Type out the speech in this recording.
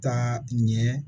Taa ɲɛ